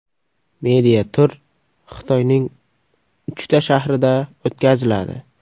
Media-tur Xitoyning uchta shahrida o‘tkaziladi.